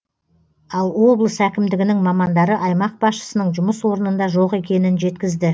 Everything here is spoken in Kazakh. ал облыс әкімдігінің мамандары аймақ басшысының жұмыс орнында жоқ екенін жеткізді